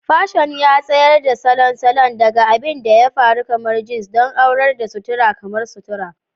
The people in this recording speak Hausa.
Fashion ya tsayar da salon salon, daga abin da ya faru kamar jeans don aurar da sutura kamar sutura.